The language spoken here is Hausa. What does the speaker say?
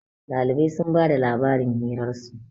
Dalibai sun ba da labarin hirarsu